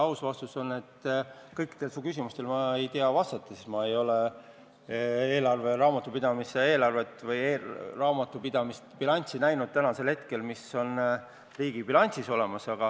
Aus vastus on, et ma ei oska kõikidele su küsimustele vastata, sest ma ei ole raamatupidamise eelarvet või raamatupidamise bilanssi näinud, seda, mis tänasel hetkel on riigi bilansis olemas.